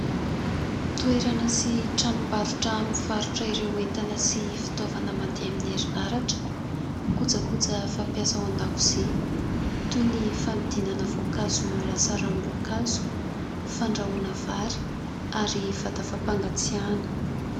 Toerana sy tranombarotra mivarotra ireo entana sy fitaovana mandeha amin'ny erinaratra. Kojakoja fampiasa ao an-dakozia toy ny fanodinana voankazo ho lasa ranom-boankazo, fandrahoana vary ary vata fampangatsiahana.